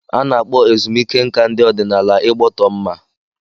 A na-akpọ ezumike nká ndị ọdịnala Igbọtọmma.